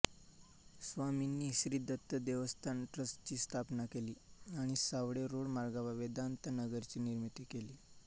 स्वामींनी श्री दत्त देवस्थान ट्रस्टची स्थापना केली आणि सावेडी रोड मार्गावर वेदान्त नगरची निर्मिती केली